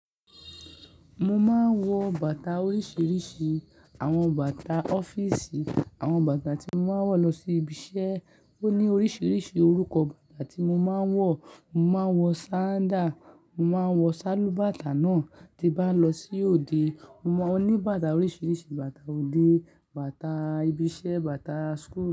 Mo máa ń wọ bàtà oríṣiríṣi. Àwọn bàtà ọ́fíìsì, àwọn bàtà tí mo máa ń wọ̀ lọ sí ibi iṣẹ́. Ó ní oríṣiríṣi orúkọ bàtà tí mo máa ń wọ̀. Mo máa ń wọ sandal, mo máa ń wọ sálúbàtà náà. Tí bá lọ sí òde, mo ní bàtà oríṣiríṣi bàtà òde, bàtà ibi iṣẹ́, bàtà school.